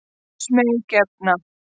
Óðs mey gefna.